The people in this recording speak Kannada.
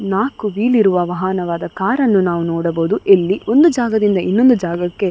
ನಾಕು ವೀಲ್ ಇರುವ ವಾಹನವಾದ ಕಾರನ್ನ ನಾವು ನೋಡಬಹುದು ಇಲ್ಲಿ ಒಂದು ಜಾಗದಿಂದ ಇನ್ನೊಂದು ಜಾಗಕ್ಕೆ --